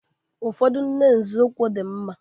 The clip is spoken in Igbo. Ụfọdụ nne nzọụkwụ dị mma